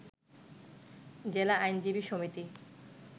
জেলা আইনজীবী সমিতি